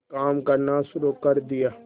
काम करना शुरू कर दिया